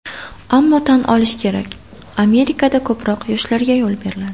Ammo tan olish kerak, Amerikada ko‘proq yoshlarga yo‘l beriladi.